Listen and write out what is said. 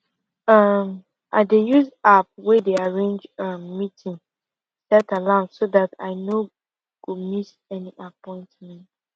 um i dey use app wey dey arrange um meeting set alarm so dat i no go miss any appointment